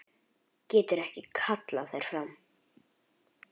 Getur ekki kallað þær fram.